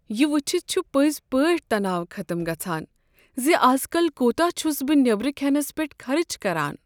یہ وٕچھتھ چھُ پٔزۍ پٲٹھۍ تناو ختم گژھان زِ ازكل كوتاہ چھُس بہٕ نیبرٕ كھینس پیٹھ خرچ كران۔